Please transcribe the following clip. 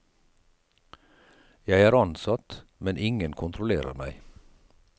Jeg er ansatt, men ingen kontrollerer meg.